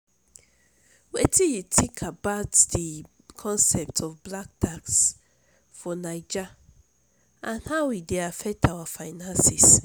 wetin you think about di concept of 'black tax' for naija and how e dey affect our finances?